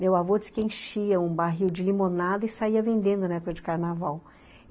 Meu avô disse que enchia um barril de limonada e saía vendendo na época de carnaval.